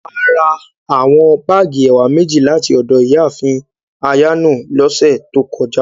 Àrà àwọn báágì ẹ̀wà mẹjì láti ọdọ Iyáàfin Ayano lọsẹ̀ tó kọ̀jà.